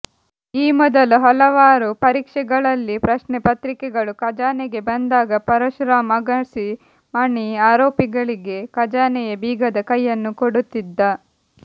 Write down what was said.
ಈ ಮೊದಲು ಹಲವಾರು ಪರೀಕ್ಷೆಗಳಲ್ಲಿ ಪ್ರಶ್ನೆಪತ್ರಿಕೆಗಳು ಖಜಾನೆಗೆ ಬಂದಾಗ ಪರಶುರಾಮ್ ಅಗಸಿ ಮಣಿ ಆರೋಪಿಗಳಿಗೆ ಖಜಾನೆಯ ಬೀಗದ ಕೈಯನ್ನು ಕೊಡುತ್ತಿದ್ದ